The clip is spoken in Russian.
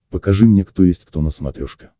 покажи мне кто есть кто на смотрешке